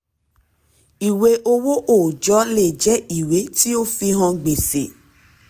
ìwé owó ọjọ́ lè jẹ ìwé tí ó fi hàn gbèsè.